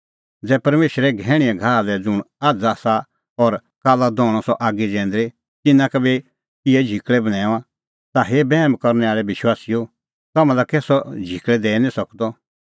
ज़ै परमेशर घैहणींए घाहा लै ज़ुंण आझ़ आसा और काल्ला दहणअ सह आगी जैंदरी तिन्नां का बी इहै झिकल़ै बन्हैऊंआं ता हे बैहम करनै आल़ै विश्वासीओ तम्हां लै कै सह झिकल़ै दैई निं सकदअ